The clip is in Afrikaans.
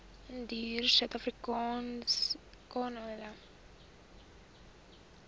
indiërsuidafrikaners ten beste